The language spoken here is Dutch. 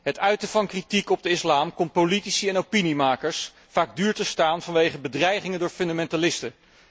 Het uiten van kritiek op de islam komt politici en opiniemakers vaak duur te staan vanwege bedreigingen door fundamentalisten.